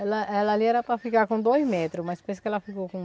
Ela ela ali era para ficar com dois metros, mas pensa que ela ficou com